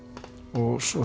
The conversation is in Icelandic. og svo